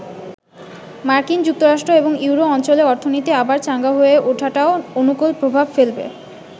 মার্কিন যুক্তরাষ্ট্র এবং ইউরো অঞ্চলে অর্থনীতি আবার চাঙ্গা হয়ে ওঠাটাও অনুকুল প্রভাব ফেলবে।